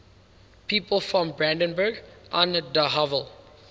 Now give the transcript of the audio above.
people from brandenburg an der havel